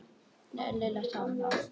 Lilla sá um það.